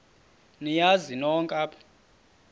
niyazi nonk apha